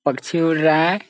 पक्षी उड़ रहा है।